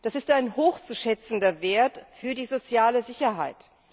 Das ist ein hoch zu schätzender Wert für die soziale Sicherheit.